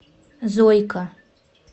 зойка